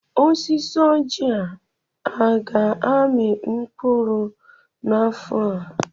Osisi Ọjị a aga-amị mkpụrụ n'afọ a?